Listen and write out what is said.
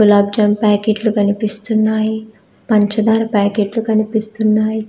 గులాబ్ జామ్ ప్యాకెట్లు కనిపిస్తున్నాయి పంచదార ప్యాకెట్లు కనిపిస్తున్నాయి